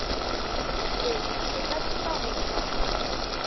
se se ka tlipago kamano